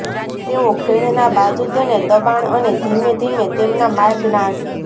તેઓ ખીણના બાજુ તેને દબાણ અને ધીમે ધીમે તેમના માર્ગ નાશ